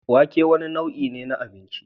Wake wane nau'in abinci ne?